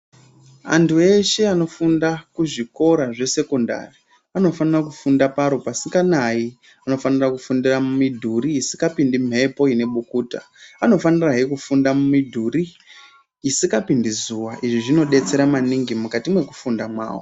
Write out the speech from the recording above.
Antu anofunda kuzvikora zvesekondari anofanira kufunda paro pasikanayi anofanira kufundira mumidhuri isikapindi mhepo inebukuta anofanira he kufunda mumidhuri isikapindi zuwa izvi zvinodetsera maningi mukati mwekufunda mwawo.